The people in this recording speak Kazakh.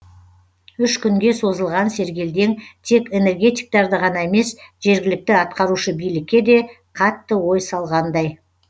үш күнге созылған сергелдең тек энергетиктерді ғана емес жергілікті атқарушы билікке де қатты ой салғандай